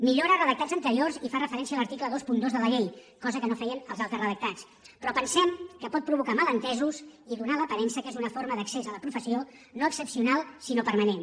millora redactats anteriors i fa referència a l’article vint dos de la llei cosa que no feien els altres redactats però pensem que pot provocar malentesos i donar l’aparença que és una forma d’accés a la professió no excepcional sinó permanent